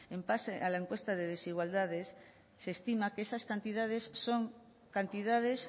en base a la encuesta de desigualdades se estima que esas cantidades son cantidades